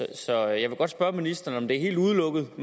der så jeg vil godt spørge ministeren om det er helt udelukket at